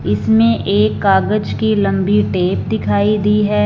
इसमें एक कागज की लंबी टेप दिखाई दी है।